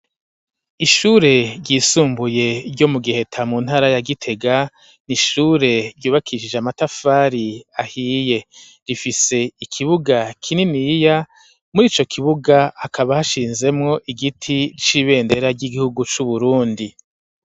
Ishure ryisumbuye ryo mu Giheta, mu ntara ya Gitega, ni ishure ryubakishije amatafari ahiye. rifise ikibuga kininiya, muri ico kibuga hakaba hashinzemwo igiti c'ibendera ry'igihugu c'Uburundi.